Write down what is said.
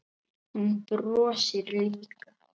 Hún brosir líka.